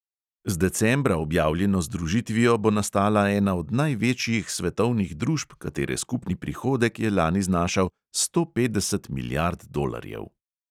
Z decembra objavljeno združitvijo bo nastala ena od največjih svetovnih družb, katere skupni prihodek je lani znašal sto petdeset milijard dolarjev.